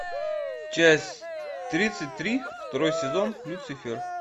часть тридцать три второй сезон люцифер